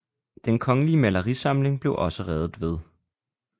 Den kongelige malerisamling blev også reddet ved